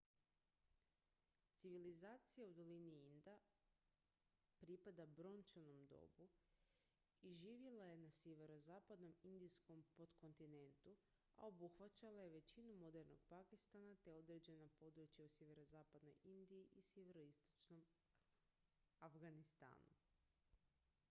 civilizacija u dolini inda bila pripada brončanom dobu i živjela je na sjeverozapadnom indijskom potkontinentu a obuhvaćala je većinu modernog pakistana te određena područja u sjeverozapadnoj indiji i sjeveroistočnom afganistanu